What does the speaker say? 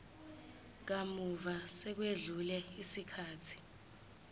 kamuva sekwedlule isikhathi